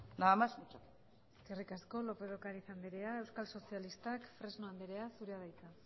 nada más muchas gracias eskerrik asko lópez de ocariz anderea euskal sozialistak fresno anderea zurea da hitza